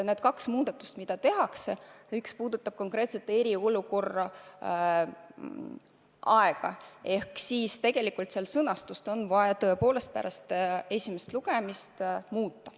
Need kaks muudatust, mis me soovime teha – üks neist puudutab konkreetselt eriolukorra aega –, vahest nende sõnastust on vaja pärast esimest lugemist muuta.